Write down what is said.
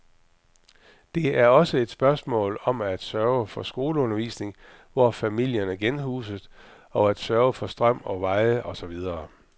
Det er også et spørgsmål om at sørge for skoleundervisning, der hvor familierne genhuses, og at sørge for strøm og veje og så videre.